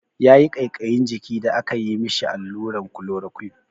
Yayi ƙaiƙayin jiki da aka yi mishi alluran klorokwin.